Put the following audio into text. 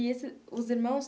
E esse os irmãos.